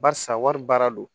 Barisa wari baara don